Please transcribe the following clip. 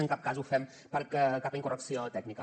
en cap cas ho fem per cap incorrecció tècnica